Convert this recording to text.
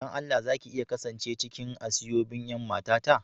Dan Allah za ki iya kasance cikin aseobin' yan mata ta?